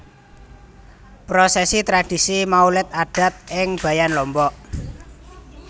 Prosesi Tradisi Maulid Adat ing Bayan Lombok